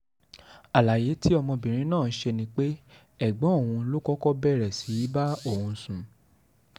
àlàyé tí ọmọbìnrin náà ṣe ni pé ẹ̀gbọ́n òun ló kọ́kọ́ bẹ̀rẹ̀ sí í bá òun sùn